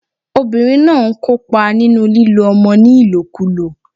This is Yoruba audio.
Obìnrin náà n kópa nínú lílo ọmọ ní ìlòkulò